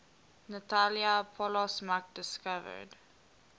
natalia polosmak discovered